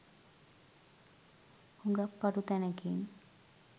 හුඟක් පටු තැනකින්.